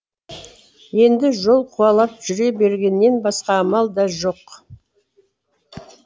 енді жол қуалап жүре бергеннен басқа амал да жоқ